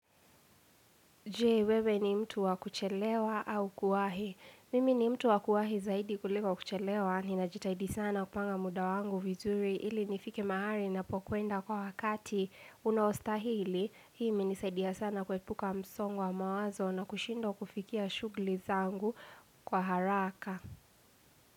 Je wewe ni mtu wa kuchelewa au kuwahi?. Mimi ni mtu wa kuahi zaidi kuliko kuchelewa. Ni najitaidi sana kupanga muda wangu vizuri. Ili nifike mahali napo kwenda kwa wakati unaostahili. Hii imenisaidia sana kuepuka msongo wa mawazo na kushindwa kufikia shughuli zangu kwa haraka.